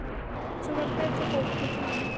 Fólk sem varð betra fólk með tímanum.